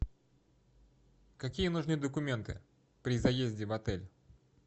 какие нужны документы при заезде в отель